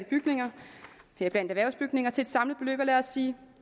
bygninger heriblandt erhvervsbygninger til et samlet beløb af lad os sige